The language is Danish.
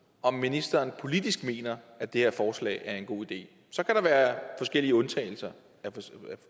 om ministeren politisk mener at det her forslag er en god idé så kan der være forskellige undtagelser